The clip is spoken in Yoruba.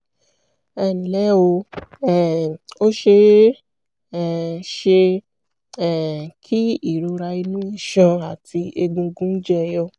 ẹnlẹ́ o um ó ṣe é um ṣe um kí ìrora inú iṣan àti egungun jẹyọ